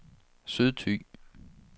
Sydthy